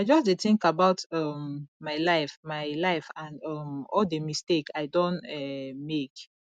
i just dey think about um my life my life and um all the mistake i don um make